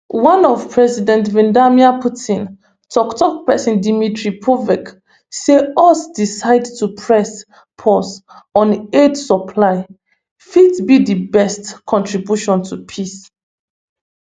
one of president vladimir putin tok tok pesin dmitry peskov say us decision to press pause on aid supply fit be di best contribution to peace